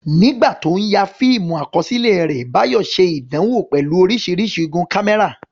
Nígbà tí ó ń ya fíìmù àkọsílẹ̀ rẹ̀, Bayo ṣe ìdánwò pẹ̀lú oríṣiríṣi igun kámẹ́rà.